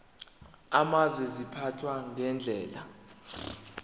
amazwe ziphathwa ngendlela